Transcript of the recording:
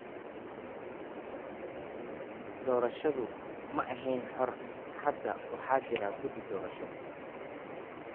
Doorashadu ma ahayn xor. Hadda waxa jira guddi doorasho.